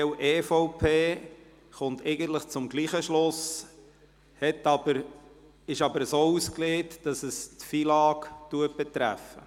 das Modell EVP kommt im Grunde zum selben Schluss, es ist aber so ausgelegt, dass es das Gesetz über den Finanz- und Lastenausgleich (FILAG) betrifft.